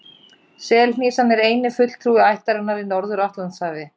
Selhnísan er eini fulltrúi ættarinnar í Norður-Atlantshafi.